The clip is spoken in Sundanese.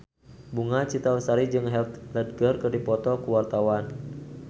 Bunga Citra Lestari jeung Heath Ledger keur dipoto ku wartawan